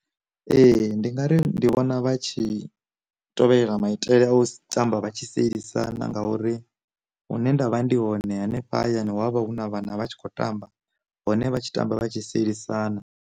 Ee, ndi nga ri ndi vhona vha tshi tovhelela maitele a u tamba vha tshi sielisana, ngauri huṋe ndavha ndi hone hanefha hayani wa vha hu na vhana vha tshi kho tamba hone vha tshi tamba vha tshi sielisana.